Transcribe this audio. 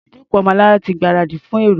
Àyè ìjókòó Ọmọlará ti gbáradì fún èrò.